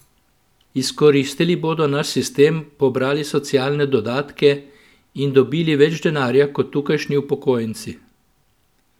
Izkoristili bodo naš sistem, pobrali socialne dodatke in dobili več denarja kot tukajšnji upokojenci!